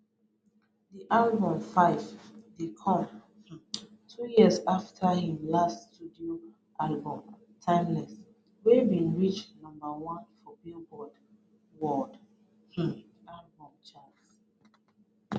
di album 5ive dey come um two years afta im last studio album timeless wey bin reach number one for billboard world um chart